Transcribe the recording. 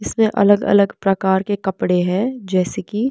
इसमें अलग-अलग प्रकार के कपड़े हैं जैसे कि--